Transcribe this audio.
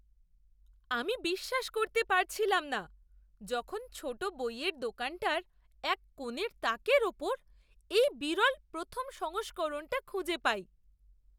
আমি বিশ্বাস করতে পারছিলাম না যখন ছোট বইয়ের দোকানটার এক কোণের তাকের ওপর এই বিরল প্রথম সংস্করণটা খুঁজে পাই!